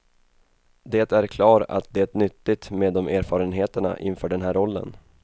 Det är klar att det nyttigt med de erfarenheterna inför den här rollen.